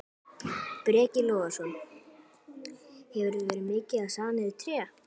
Breki Logason: Hefurðu verið mikið að saga niður tré?